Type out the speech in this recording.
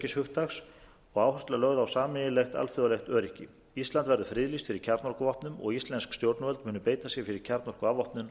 og áhersla lögð á sameiginlegt alþjóðlegt öryggi ísland verði friðlýst fyrir kjarnorkuvopnum og íslensk stjórnvöld munu beita sér fyrir kjarnorkuafvopnun